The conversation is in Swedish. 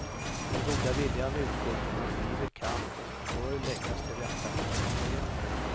Den goda viljan utgår från att livet kan och bör läggas till rätta för medborgarna.